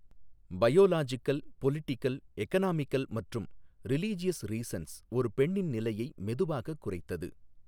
Biological, political, economical மற்றும் religious reasons ஒரு பெண்ணின் நிலையை மெதுவாகக் குறைத்தது.